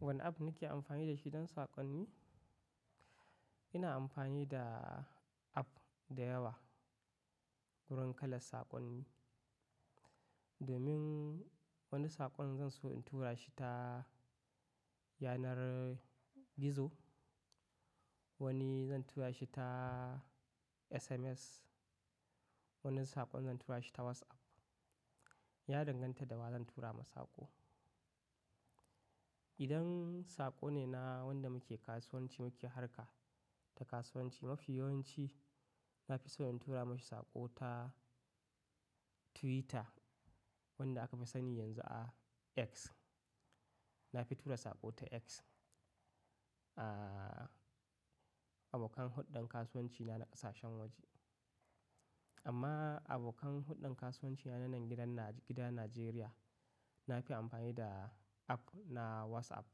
Wane app nake amfani da shi don saƙonni? Ina amfani da app da yawa wurin kalla saƙonni. Domin wani saƙon zan so in tura shi ta yanar gizo, wani zan tura shi ta SMS, wani saƙon zan tura shi ta WhatsApp. Ya danganta da wa zan tura masa saƙo. Idan saƙo ne na wanda muke kasuwanci muke harka ta kasuwanci, mafi yawanci na fi so in tura masa saƙo ta Twitter wanda aka fi sani yanzu a X. Na fi tura saƙo ta X, a abokan huddan kasuwanci na na ƙasashen waje. Amma abokan huddan kasuwanci na na nan gidan Najeriya, na fi amfani da app na WhatsApp,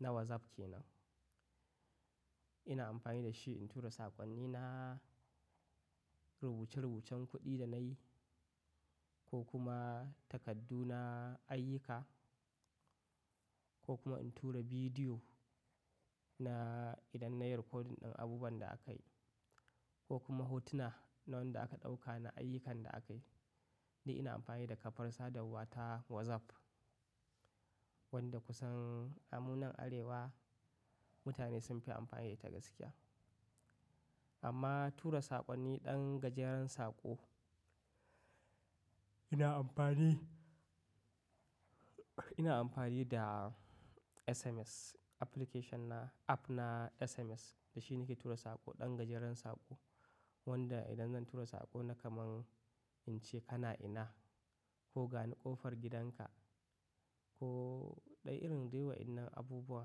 na WhatsApp ke nan. Ina amfani da shi in tura saƙonnina, rubuce-rubucen kuɗi da na yi ko kuma takardu na ayyuka ko kuma in tura bidiyo na idan na yi rikodin ɗan abubuwan da akayi ko kuma hotuna na wanda aka ɗauka na ayyukan da akayi. Dai ina amfani da kafar sadarwa ta WhatsApp wanda kusan amunan Arewa mutane sun fi amfani da ita gaskiya. Amma tura saƙonni ɗan gajeren saƙo, ina amfani, ina amfani da SMS application na, app na SMS. Da shi nake tura saƙo ɗan gajeren saƙo wanda idan zan tura saƙo na kaman in ce kana ina? Ko gani ƙofar gidanka? Ko ɗa'irin daiwa inna abubuwa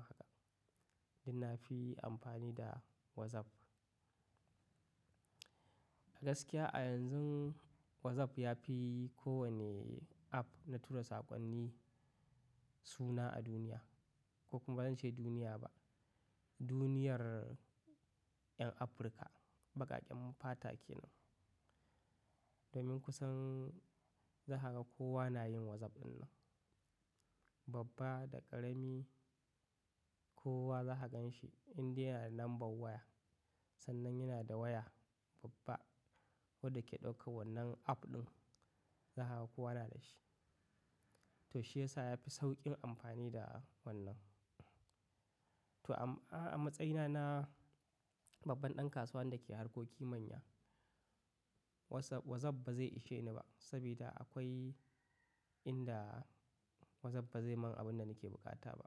haka, dai na fi amfani da WhatsApp. A gaskiya a yanzun WhatsApp ya fi kowane app na tura saƙonni suna a duniya ko kuma ban ce duniya ba, duniyar 'yan Afirka. Baƙaƙen mu fata ke nan. Domin kusan za ka ga kowa na yin WhatsApp ɗin nan. Babba da ƙarami kowa za ka gan shi in dai yana da lambar waya. Sannan yana da waya babba wadda ke ɗaukan wannan app ɗin, za ka ga kowa na da shi. To shi yasa ya fi sauƙin amfani da wannan. To a matsayina na babban ɗan kasuwa wanda ke harkoki manya, WhatsApp, WhatsApp ba zai ishe ni ba saboda akwai inda WhatsApp ba zai mun abun da nake buƙata ba.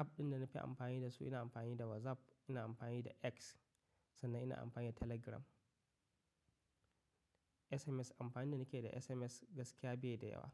App ɗin da na fi amfani da su, ina amfani da WhatsApp, ina amfani da X sannan ina amfani da Telegram. SMS, amfani da nake da SMS gaskiya bai da yawa.